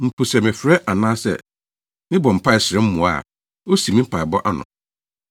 Mpo sɛ mefrɛ anaasɛ mebɔ mpae srɛ mmoa a osiw me mpaebɔ ano.